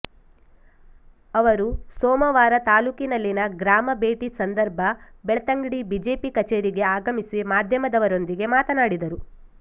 ಅವರು ಸೋಮವಾರ ತಾಲೂಕಿನಲ್ಲಿನ ಗ್ರಾಮ ಭೇಟಿ ಸಂದರ್ಭ ಬೆಳ್ತಂಗಡಿ ಬಿಜೆಪಿ ಕಚೇರಿಗೆ ಆಗಮಿಸಿ ಮಾಧ್ಯಮದರೊಂದಿಗೆ ಮಾತನಾಡಿದರು